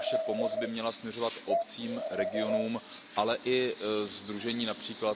Naše pomoc by měla směřovat obcím, regionům, ale i sdružením, např.